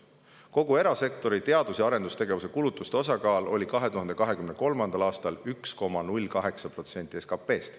Kogu erasektori teadus- ja arendustegevuse kulutuste osakaal oli 2023. aastal 1,08% SKT-st.